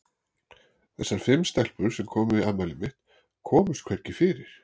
Þessar fimm stelpur, sem komu í afmælið mitt, komust hvergi fyrir.